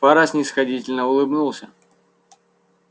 фара снисходительно улыбнулся